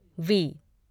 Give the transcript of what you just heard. we